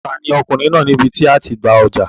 Ta ni Ọkùnrin náà ní ibi tí a ó ti gba ọjà?